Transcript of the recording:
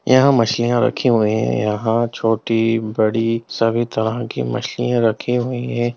यहां मछलियां रखे हुए हैं यहां छोटी बड़ी सभी तरह की मछलियां रखी हुई है।